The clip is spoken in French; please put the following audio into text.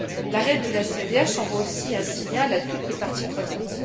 L'arrêt de la CEDH envoie aussi un signal à toutes les parties prenantes.